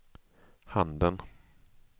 handen